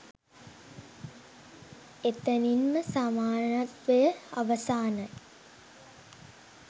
එතනින්නම සමානත්වය අවසානයි